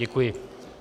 Děkuji.